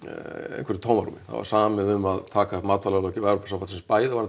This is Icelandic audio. einhverju tómarúm það var samið um að taka matvælalöggjöf Evrópusambandsins bæði